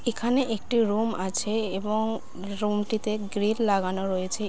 এখানে একটি রোম আছে এবং রোম টিতে গ্রিল লাগানো রয়েছে।